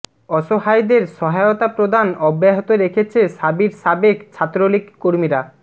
অসহায়দের সহায়তা প্রদান অব্যাহত রেখেছে শাবির সাবেক ছাত্রলীগ কর্মীরা